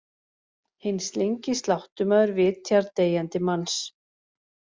Hinn slyngi sláttumaður vitjar deyjandi manns.